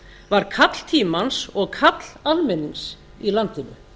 var kall tímans og kall almennings í landinu